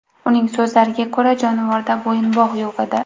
Uning so‘zlariga ko‘ra, jonivorda bo‘yinbog‘ yo‘q edi.